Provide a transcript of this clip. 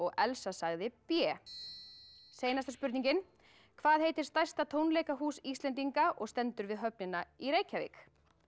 Elsa sagði b seinasta spurningin hvað heitir stærsta tónleikahús Íslendinga og stendur við höfnina í Reykjavík